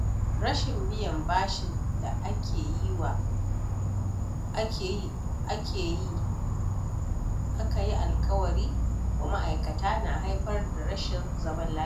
Rashin biyan bashin da aka yi alkawari wa ma’aikata na haifar da rashin zaman lafiya.